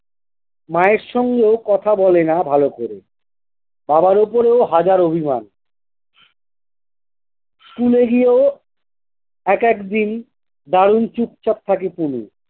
মায়ের সঙ্গে কথা বলে না ভালো করে। বাবার ওপরেও হাজার অভিমান। school এ গিয়ে একেকদিন দারুণ চুপচাপ থাকে কুনি।